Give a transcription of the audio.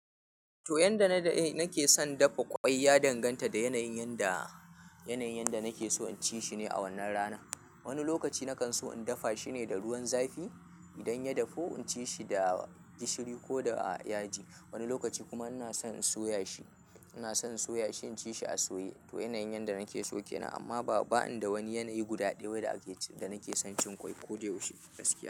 To, yanda na da nake son dafa ƙwai ya danganta da yanayin da, yanayin da nake so in ci shi ne a wannan rana. Wani lokaci na kan so in dafa shi ne da ruwan zafi. Idan ya dafu, in ci shi da gishiri ko da yaji. Wani lokaci kuma ina son in soya shi. Ina son soya shi in ci shi a soye. To yanayin yanda nake so kenan.